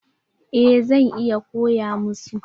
Eh zan iya koya masu.